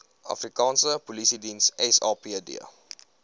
afrikaanse polisiediens sapd